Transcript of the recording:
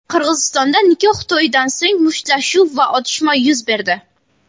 Qirg‘izistonda nikoh to‘yidan so‘ng mushtlashuv va otishma yuz berdi.